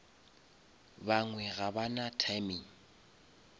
bangwe ga ba na timing